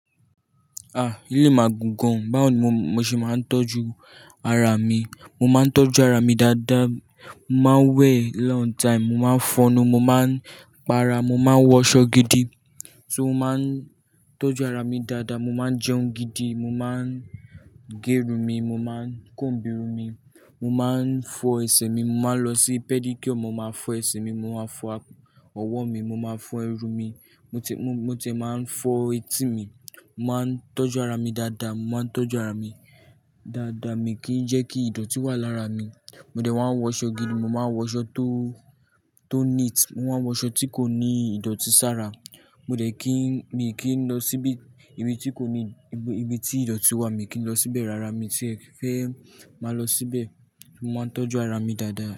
Ah! Eleyi magùn gan. Báwo ni mo ṣe máa ń tọ́jú ara mi? Mo máa ń tọ́jú ara mi dada, mo máa ń wẹ̀ long time, mo máa ń fọnu, mo máa ń pa ara, mo máa ń wọṣọ gidi. So mo máa ń tọ́jú ara mi dada, mo máa ń jẹun gidi, mo máa ń gé irun mi, mo máa ń kòǹbu irun mi, mo máa ń fọ ẹsẹ̀ mi, mo máa ń lọ sí pẹ́dííkìọ̀ mo máa fọ ẹsẹ̀ mi, mo máa fọ ọwọ́ mi, mo máa fọ irùn mi. Mo t-- mo t-- mo tì máa ń fọ etí mi. Mo máa ń tọ́jú ara mi dada, mo máa ń tọ́jú ara mi dada. Mi kì í jẹ́ kí ìdọ̀tí wà lára mi. Mo dẹ̀ wá ń wọṣọ gidi, mo máa ń wọṣọ tó, tó neat. Mo máa ń wọṣọ tí kò ní ìdọ̀tí sára. Mo dẹ̀ kí, mi kì í lọ síbi, ibi tí kò ní, ibi, ibi tí ìdọ̀tí wà. Mi kì í lọ síbẹ̀ rárá. Mi ti e fẹ́ máa lọ síbẹ̀. Mo máa ń tọ́jú ara mi dada.